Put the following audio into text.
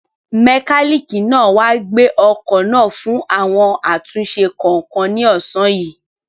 Mẹkálíìkì máa wá gbé ọkọ̀ náà fún àwọn àtúnṣe kọ̀ọ̀kan ní ọ̀sán yìí.